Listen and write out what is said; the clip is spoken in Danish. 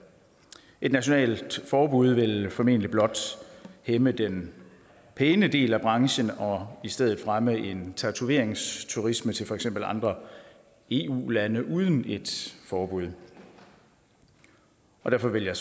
et nationalt forbud vil formentlig blot hæmme den pæne del af branchen og i stedet fremme en tatoveringsturisme til for eksempel andre eu lande uden et forbud og derfor vil jeg